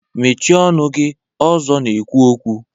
Mechịe ọnụ gị! Ọzọ na-ekwu okwu